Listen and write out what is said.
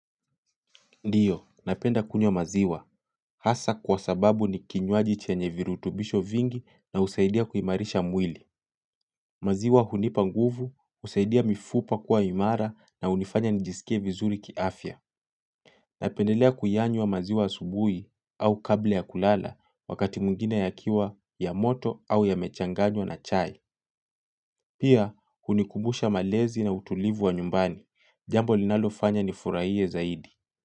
Ndiyo, napenda kunywa maziwa. Hasa kwa sababu ni kinywaji chenye virutubisho vingi na husaidia kuimarisha mwili. Maziwa hunipa nguvu, husaidia mifupa kuwa imara na hunifanya nijisikie vizuri kiafya. Napendelea kuyanywa maziwa asubuhi au kabla ya kulala wakati mwingine yakiwa, ya moto au yamechanganywa na chai. Pia, hunikubusha malezi na utulivu wa nyumbani. Jambo linalofanya nifurahie zaidi.